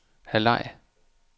halvleg